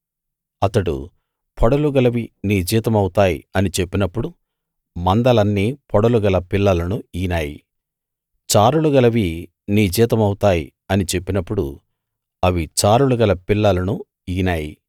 అతడు పొడలు గలవి నీ జీతమవుతాయి అని చెప్పినప్పుడు మందలన్నీ పొడలు గల పిల్లలను ఈనాయి చారలు గలవి నీ జీతమవుతాయి అని చెప్పినప్పుడు అవి చారలు గల పిల్లలను ఈనాయి